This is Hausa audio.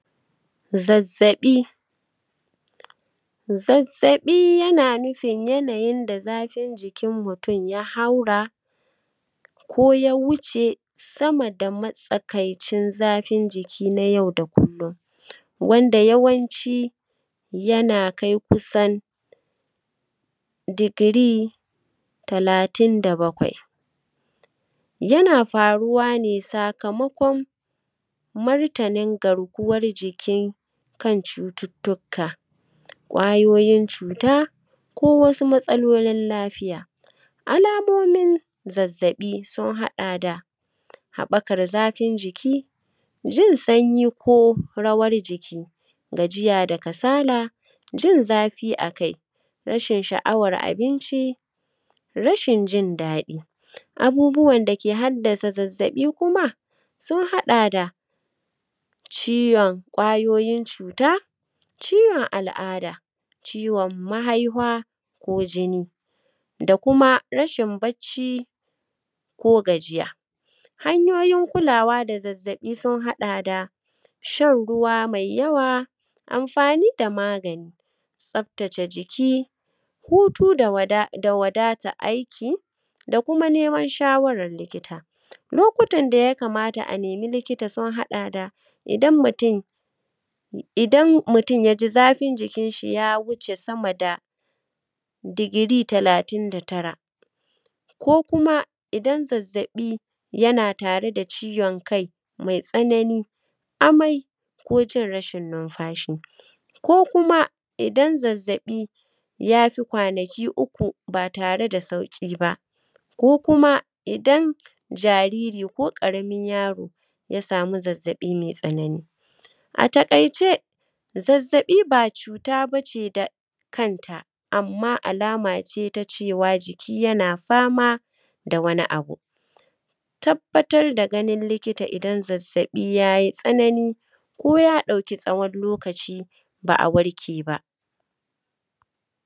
Zazzaɓi. Zazzaɓi yana nufin yanayin da zafin jikin mutum ya haura, ko ya wuce sama da matsakaicin zafin jiki na yau da kullum, wanda yawanci yana kai kusan, digiri talatin da bakwai. Yana faruwa ne sakamakon, martanin garkuwar jikin kan cututtuka, ƙwayoyin cuta, ko wasu matsalolin lafiya. Alamomin zazzaɓi sun haɗa da, haɓakar zafin jiki; jin sanyi ko rawar jiki; gajiya da kasala; jin zafi a kai; rashin sha’awar abinci; rashin jin daɗi. Abubuwan da ke haddasa zazzaɓi kuma, sun haɗa da, ciwon ƙwayoyin cuta; ciwon al’ada; ciwon mahaihwa, ko jini; da kuma rashin bacci, ko gajiya. Hanyoyin kulawa da zazzaɓi sun haɗa da, shan ruwa mai yawa; amfani da magani; tsabtace jiki; hutu da wadata aiki; da kuma neman shawarar likita. Lokutan da ya kamata a nemi likita sun haɗa da, idan mutum, idan mutum ya ji zafin jikinshi ya wuce sama da, digiri talatin da tara; ko kuma idan zazzaɓi yana tare da ciwon kai mai tsanani, amai, ko jin rashin numfashi; ko kuma, idan zazzaɓi ya fi kwanaki uku ba tare da sauƙi ba; ko kuma idan jariri ko ƙaramin yaro ya sami zazzaɓi mai tsanani. A taƙaice, zazzaɓi ba cuta ba ce da kanta, amma alama ce ta cewa jiki yana fama da wani abu. Tabbatar da ganin likita idan zazzaɓi ya yi tsanani, ko ya ɗauki tsawon lokaci, ba a warke ba.